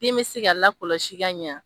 Den be se ka lakɔlɔsi ka ɲa.